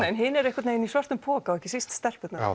en hin eru í svörtum poka ekki síst stelpurnar